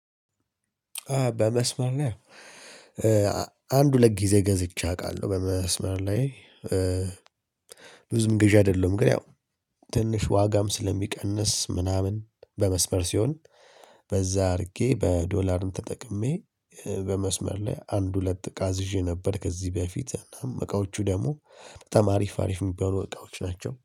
በመስመር ላይ አንድ ሁለት ጊዜ ገዝቼ አውቃለሁ። በመስመር ላይ ብዙም ገዢ አይደለሁም። ግን ያው ትንሽ ዋጋም ስለሚቀንስ ምናምን በመስበር ሲሆን በዛ አድርጌ በዶላርም ተጠቅሜ በመስመር ላይ አንድ ሁለት እቃ አዝዤ ነበር። ከዚህ በፊት እቃዎቹ ደግሞ በጣም አሪፍ አሪፍ የሚባሉ እቃዎች ናቸው